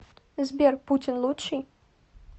сбер путин лучший